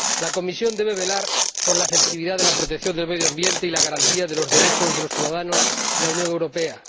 La Comisión debe velar por la efectividad de la protección del medio ambiente y la garantía de los derechos de los ciudadanos en la Unión Europea.